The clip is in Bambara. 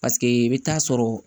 Paseke i bɛ taa sɔrɔ